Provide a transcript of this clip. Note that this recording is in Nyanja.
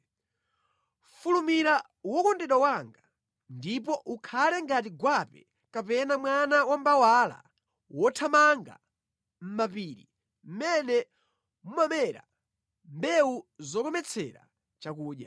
Fulumira wokondedwa wanga, ndipo ukhale ngati gwape kapena mwana wa mbawala wothamanga mʼmapiri mʼmene mumamera mbewu zokometsera chakudya.